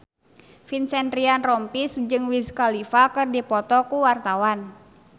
Vincent Ryan Rompies jeung Wiz Khalifa keur dipoto ku wartawan